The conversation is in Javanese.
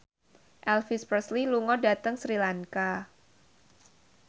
Elvis Presley lunga dhateng Sri Lanka